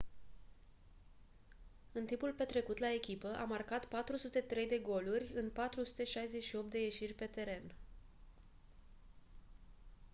în timpul petrecut la echipă a marcat 403 de goluri în 468 de ieșiri pe teren